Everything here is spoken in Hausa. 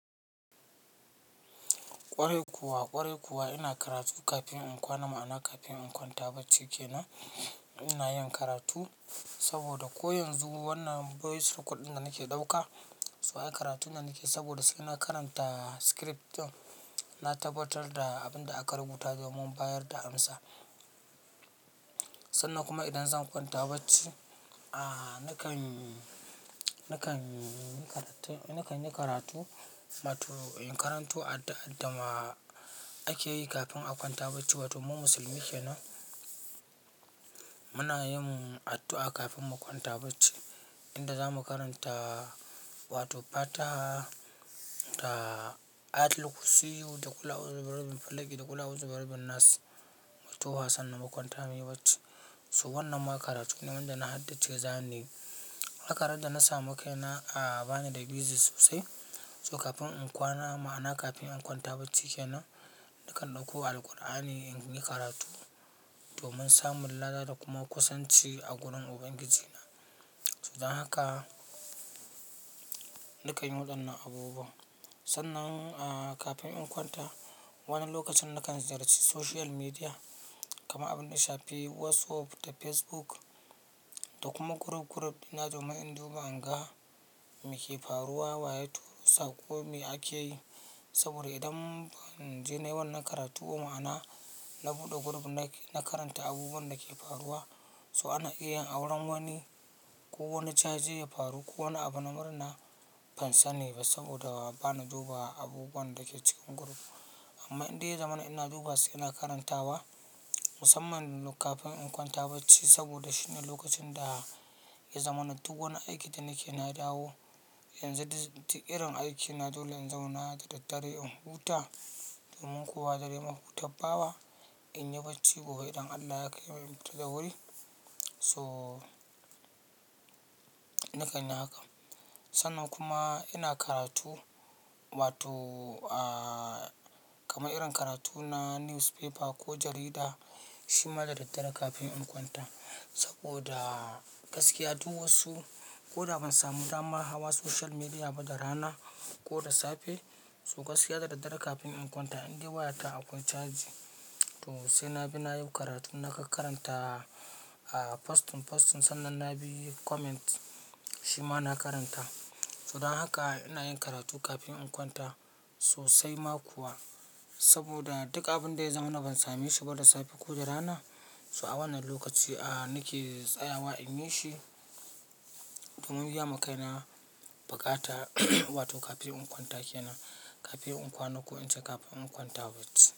Kwarai kuwa, kwarai kuwa ina karatu kafin in kwana ma'ana kafin in kwanta bacci ke nan ina yin karatu saboda ko yanzu wannan voice record ɗin da nake ɗauka, sai karatun da nake saboda sai na karanta script ɗin, na tabbatar da abin da aka rubuta domin bayar da amsa. Sannan kuma idan zan kwanta bacci ahh nakan nakan nakanyi karatu, wato in karanto addu'ar dama ake yi kafin a kwanta bacci. Wato mu musulmi ke nan muna yin addu'a kafin mu kwanta bacci. Inda zamu karanta wato Fatiha da Ayatul kursiyu da ƙul a'uzu bi rabil falaki da ƙul a'uzu bi rabbin nas nas. Wato fa sannan mu kwanta muyi bacci. So wannan ma karatu ne wanda na haddasa zan yi. Haka ran da na samu kai na a bani da bizi sosai. So kafin in kwana ma'ana kafin in kwanta bacci ke nan nakan ɗauko Alqur'ani in yi karatu domin samun lada da kuma kusanci a gurin Ubangijina. So dan haka nakan yi waɗannan abubuwa. Sannan ah kafin in kwanta, wani lokacin nakan ziyarci social media, kaman abun daya shafi WhatsApp, da Facebook da kuma chrome chrome ɗina domin in duba inga mai ke faruwa, wa ya turo saƙo mai akeyi. Saboda idan ban je na yiwanna karatu ba, ma'ana na buɗe group na karanta abubuwan da ke faruwa so ana iya auren wani ko wani caje ya faru ko wani abu na murna ban sani ba saboda ba na duba abubuwan da ke cikin group. Amma indai ya zamana ina dubawa su ina karantawa musamman kafin in kwanta bacci saboda shine lokacin da ya zamanan duk wani aiki da nake na dawo, yanzu dig dik irin aikina dole in zauna da daddare in huta domin kuwa dare mahuta bawa in yi bacci gobe idan Allah ya kaimu mu tafi da wuri. So nakan yi haka. Sannan kuma ina karatu wato ahh kama irin karatu na newspaper ko jarida shima da daddare kafin in kwanta saboda gaskiya duk wasu ko da ban samu dama hawa social media ba da rana ko da safe so gaskiya da daddare kafin in kwanta indai wayata akwai charge to sai na bi na yi karatu nakan karanta a postun postun sannan na bi yi comment shima na karanta. So dan haka ina yin karatu kafin in kwanta sosai ma kuwa saboda duk abun da ya zamanina ban same shi ba da safe ko da rana so a wannan lokaci a nake tsayawa in yi shi domin biya ma kaina baƙata wato kafin in kwanta ke nan kafin in kwana ko in ce kafin in kwanta bacci.